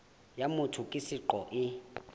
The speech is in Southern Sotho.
ya motho ka seqo e